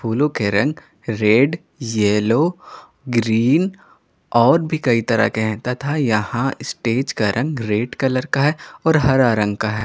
फूलों के रंग रेड येलो ग्रीन और भी कई तरह के हैं तथा यहां स्टेज का रंग रेड कलर का है और हरा रंग का है।